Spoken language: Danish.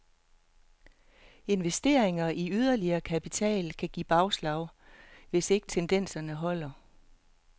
Investeringer i yderligere kapacitet kan give bagslag, hvis ikke tendenserne holder.